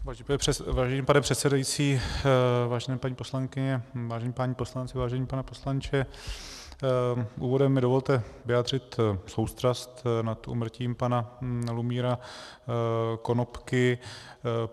Vážený pane předsedající, vážené paní poslankyně, vážení páni poslanci, vážený pane poslanče, úvodem mi dovolte vyjádřit soustrast nad úmrtím pana Lumíra Konopky.